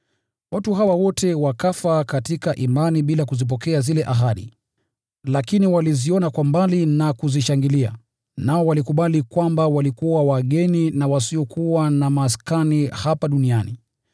Watu hawa wote wakafa katika imani bila kuzipokea zile ahadi, lakini waliziona kwa mbali na kuzishangilia. Nao walikubali kwamba walikuwa wageni na wasiokuwa na maskani hapa duniani.